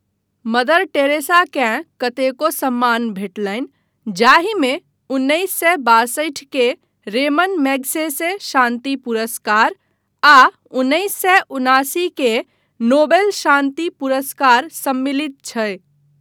Mother टेरेसाकेँ कतेको सम्मान भेटलनि जाहिमे उन्नैस सए बासठि के रेमन मैग्सेसे शान्ति पुरस्कार आ उन्नैस सए उनासी के नोबेल शान्ति पुरस्कार सम्मिलित छै।